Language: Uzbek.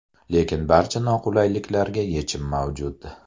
Lekin barcha noqulayliklarga yechim mavjud.